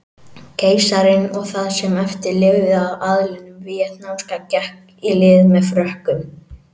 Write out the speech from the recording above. Keisarinn og það sem eftir lifði af aðlinum víetnamska gekk í lið með Frökkum.